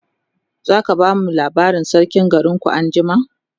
zaka bamu labarin sarkin garinku anjima?